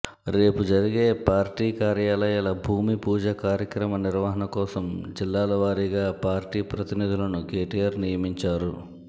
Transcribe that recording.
రేపు జరిగే పార్టీ కార్యాలయాల భూమిపూజ కార్యక్రమ నిర్వహణ కోసం జిల్లాల వారీగా పార్టీ ప్రతినిధులను కేటీఆర్ నియమించారు